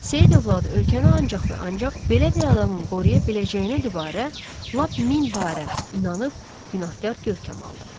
Seyid övladı ölkəni ancaq və ancaq belə bir adamın qoruya biləcəyinədibarı, lap min barə, inanıb günahkar görkəm aldı.